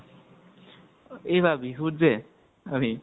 এইবাৰ বিহুত যে, অভি ?